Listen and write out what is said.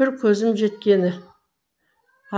бір көзім жеткені